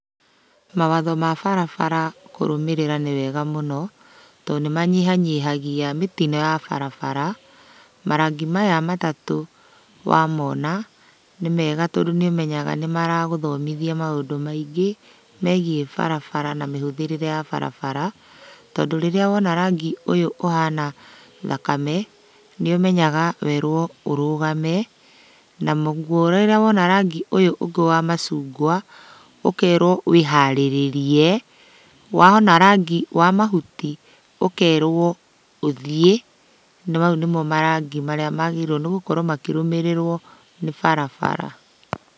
Mawatho ma barabara kũrũmĩrĩra nĩwega mũno, tondũ nĩmanyihanyihagia mĩtino ya barabara. Marangi maya matatũ wamona, nĩmega tondũ nĩũmenyaga nĩmaragũthomithia maũndũ maĩngĩ, megiĩ barabara na mĩhũthĩrĩre ya barabara. Tondũ rĩrĩa wona rangi ũyũ ũhana thakame, nĩũmenyaga werũo ũrũgame, naguo rĩrĩa wona rangi ũyũ ũngĩ wa macungwa, ũkerũo wĩharĩrĩrie, wona rangi wa mahuti, ũkerwo ũthiĩ. Na mau nĩmo marangi marĩa magĩrĩirũo nĩgũkorwo makĩrũmĩrĩrũo nĩ barabara.